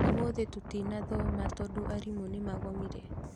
ũmũthĩ tũtinathoma tondu arimũ nĩ magomire